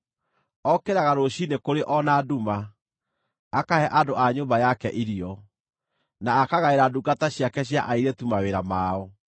Okĩraga rũciinĩ kũrĩ o na nduma; akahe andũ a nyũmba yake irio, na akagaĩra ndungata ciake cia airĩtu mawĩra mao.